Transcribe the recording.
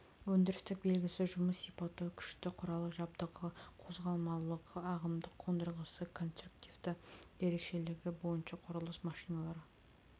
өндірістік белгісі жұмыс сипаты күшті құрал жабдығы қозғалмалылығы ағымдық қондырғысы конструктивті ерекшелігі бойынша құрылыс машиналары